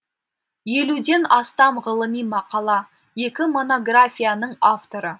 елуден астам ғылыми мақала екі монографияның авторы